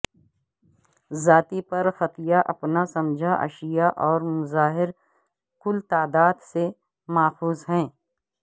ذاتی پرختیارپنا سمجھا اشیاء اور مظاہر کل تعداد سے ماخوذ ہے